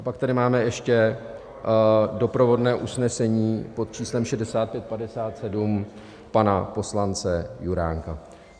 A pak tady máme ještě doprovodné usnesení pod číslem 6557 pana poslance Juránka.